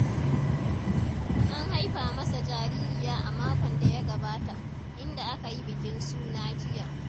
An haifa masa jaririya a makon da ya gabata, inda aka yi bikin suna jiya.